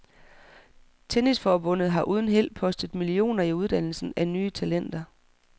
Tennisforbundet har uden held postet millioner i uddannelsen af nye talenter.